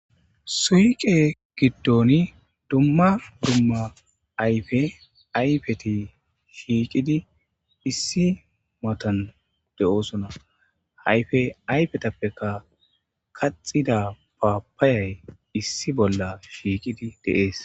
Suyqe giddon dumma dumma ayfe ayfeti shiiqidi issi matan de7oosona hayfe ayfetappeka kaxida paapayay issi bolla shiiqidi deees.